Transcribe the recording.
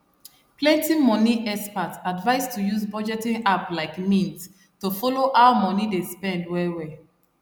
plenty money experts advise to use budgeting app like mint to follow how money dey spend well well